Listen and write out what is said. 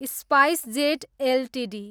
SpiceJet Ltd